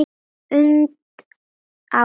und árum.